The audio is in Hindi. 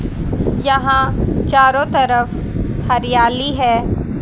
यहां चारों तरफ हरियाली है।